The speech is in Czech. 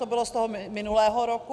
To bylo z toho minulého roku.